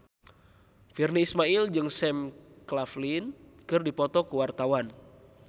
Virnie Ismail jeung Sam Claflin keur dipoto ku wartawan